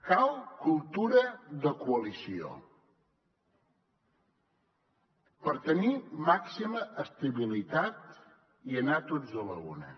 cal cultura de coalició per tenir màxima estabilitat i anar tots a l’una